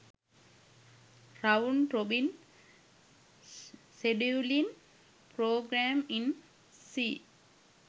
round robin scheduling program in c